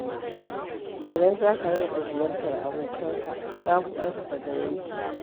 Idan za ka rinƙa ziyartar abokanka, za ku ƙarfafa zumunci.